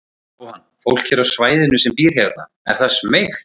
Jóhann: Fólk hér á svæðinu sem býr hérna, er það smeykt?